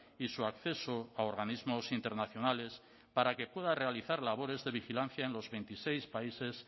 y su acceso a organismos internacionales para que pueda realizar labores de vigilancia en los veintiséis países